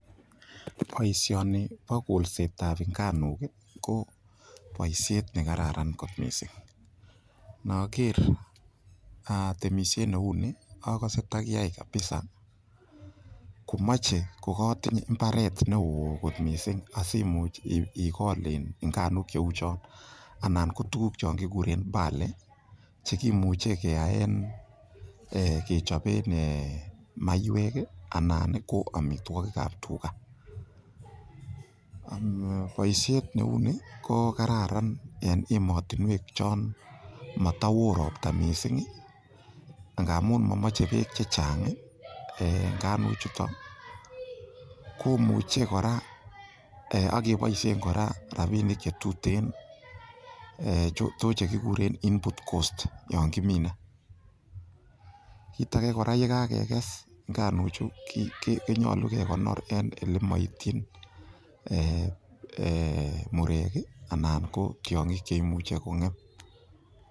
Boisioni bo kolset ab nganuk ko boisiet ne kararan kot mising inoker tmeisiet neu ni ogose takiyai kabisa komoche kogatinye mbaret neo kot mising asimuch igol nganuk cheguk cheu chon. Anan ko tuguk chon kiguren barley che kimuche keyaen, kechoben maiywek anan ko amitwogik ab tuga. Boisist neu ni ko kararan en emotinwek chon motowoo ropta mising ngamun momoche beek che chang nganuk chuton, komuche kora ak keboishen kora rabinik che tuten to che kiguren input cost yon kimine. Kit age kora ye kagekes nganuk chu, konyolu kegonor en ele moityin murek anan ko tiong'ik che imuche kong'em.